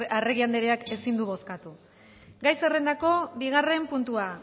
aldekoa sesenta